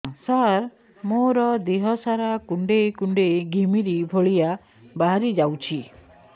ସାର ମୋର ଦିହ ସାରା କୁଣ୍ଡେଇ କୁଣ୍ଡେଇ ଘିମିରି ଭଳିଆ ବାହାରି ଯାଉଛି